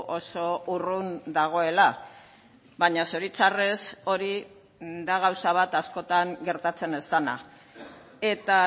oso urrun dagoela baina zoritzarrez hori da gauza bat askotan gertatzen ez dena eta